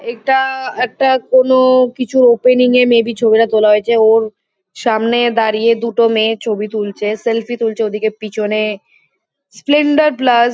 এটা একটা কোনো কিছু ওপেনিং -এ মে বি ছবিটা তোলা হয়েছে। ওর সামনে দাঁড়িয়ে দুটো মেয়ে ছবি তুলছে । সেলফি তুলছে ওদিকে পিছনে স্প্লেন্ডার প্লাস --